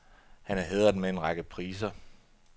Han er hædret med en række priser.